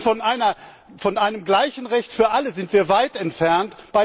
Und von einem gleichen Recht für alle sind wir weit entfernt!